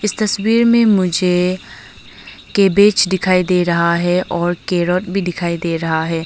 तस्वीर में मुझे कैबेज दिखाई दे रहा है और कैरेट भी दिखाई दे रहा है।